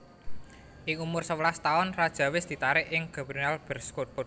Ing umur sewelas taun Radja wés ditarik ing Germinal Beerschot